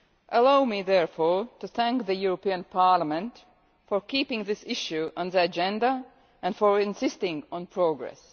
Allow me therefore to thank the European Parliament for keeping this issue on the agenda and for insisting on progress.